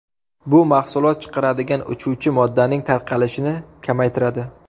Bu mahsulot chiqaradigan uchuvchi moddaning tarqalishini kamaytiradi.